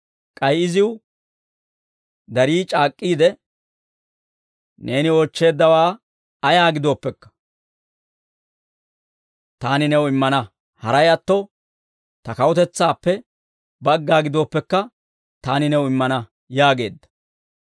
K'ay iziw darii c'aak'k'iide, «Neeni oochcheeddawaa ayaa gidooppekka, taani new immana; haray atto, ta kawutetsaappe bagga gidooppekka, taani new immana» yaageedda.